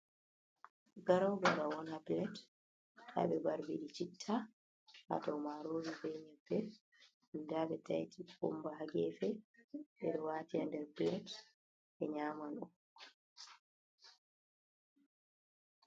Garou garaou on ha plate ha ɓe barbiɗi chitta ha dou marori ɓe nyebbe nda ɓe taiti kukumba ha gefe ɓeɗo wati ha nder plate be nyaman on.